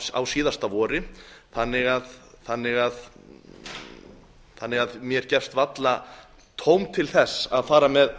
á síðasta vori þannig að mér gefst varla tóm til að fara með